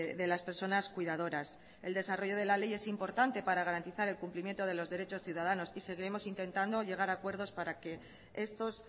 de las personas cuidadoras el desarrollo de la ley es importante para garantizar el cumplimiento de los derechos ciudadanos y seguiremos intentando llegar a acuerdos para que estos